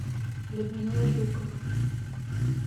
людмила жукова